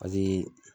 Paseke